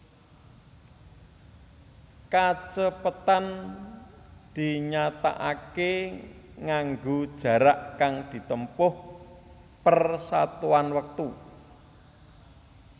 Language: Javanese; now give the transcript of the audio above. Kacepetan dinyatakaké nganggo jarak kang ditempuh per satuan wektu